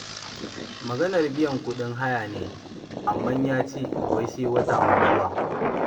Maganar biyan kuɗin haya ne, amma ya ce wai sai wata mai zuwa.